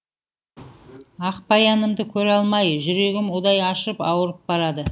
ақбаянымды көре алмай жүрегім удай ашып ауырып барады